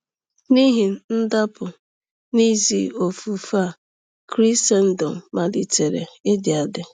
N’ihi ndapụ n’ezi ofufe a, Krisendọm malitere ịdị adị.